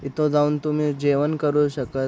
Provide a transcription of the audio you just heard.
तिथ जाऊन तुम्ही जेवण करू शकत --